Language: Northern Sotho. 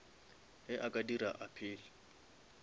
ge a ka dira appeal